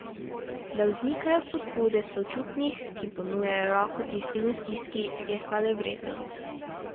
Da vznikajo pobude sočutnih, ki ponujajo roko tistim v stiski, je hvalevredno.